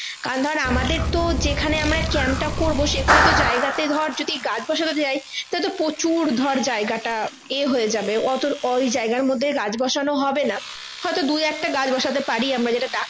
আর ধর আমাদের তো যেখানে আমরা camp টা করবো সেখানে তো জায়গাতে যদি গাছ বসানো যাই তাহলে তো প্রচুর ধরে জায়গাটা এ হয়ে যাবে অত ওই জায়গার মধ্যে গাছ বসানো হবে না হয়তো দু একটা গাছ বসাতে পারি আমরা যেটা